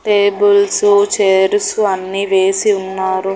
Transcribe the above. Tables chairs అన్నీ వేసి ఉన్నారు.